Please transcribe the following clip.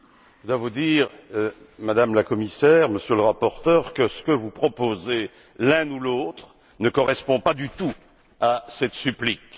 Je dois vous dire, Madame la Commissaire, Monsieur le rapporteur, que ce que vous proposez l'un ou l'autre ne correspond pas du tout à cette supplique.